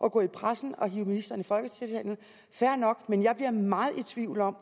at gå i pressen og hive ministeren ned i folketingssalen fair nok men jeg bliver meget i tvivl om